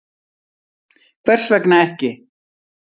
Hvers vegna ekki?